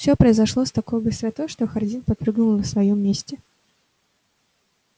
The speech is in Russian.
всё произошло с такой быстротой что хардин подпрыгнул на своём месте